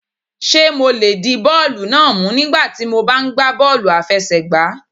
Ṣé mo lè di bọ́ọ̀lù náà mú nígbà tí mo bá ń gba bọ́ọ́lù àfẹsẹ̀gbá?